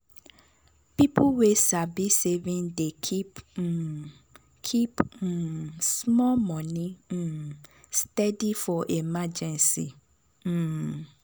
people wey sabi saving dey keep um keep um small money um steady for emergency. um